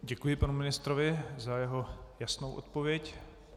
Děkuji panu ministrovi za jeho jasnou odpověď.